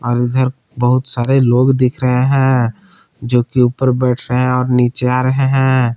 और इधर बहुत सारे लोग दिख रहे हैं जो कि ऊपर बैठ रहे हैं और नीचे आ रहे हैं।